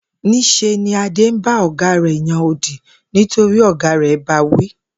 Ní s̩e ni Adé ń bá ò̩gá rè̩ yan odì nítorí ò̩gá rè̩ ba wí